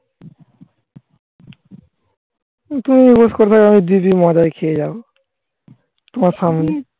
তো দিদির মাথাই খেয়ে যাও. তোমার সামনে